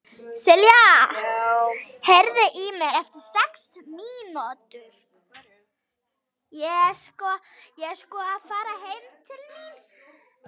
Silja, heyrðu í mér eftir sex mínútur.